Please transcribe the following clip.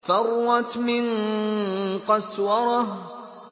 فَرَّتْ مِن قَسْوَرَةٍ